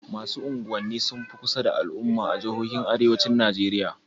Masu unguwanni sun fi kusa da al'umma a jihojin Arewacin Najeriya.